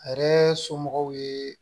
A yɛrɛ somɔgɔw ye